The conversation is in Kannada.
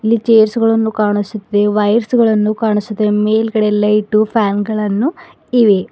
ಇಲ್ಲಿ ಚೇರ್ಸ್ ಗಳನ್ನು ಕಾಣಿಸುತ್ತಿದೆ ವಯರ್ಸ್ಗ ಳನ್ನು ಕಾಣಿಸುತ್ತಿದೆ ಮೇಲ್ಗಡೆ ಲೈಟು ಫ್ಯಾನ್ ಗಳನ್ನು ಇವೆ.